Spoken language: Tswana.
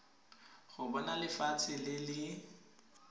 go bona lefatshe le le